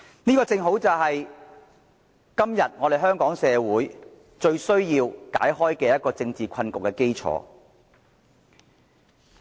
這正正是香港社會要解開今天的政治困局最需要的基礎。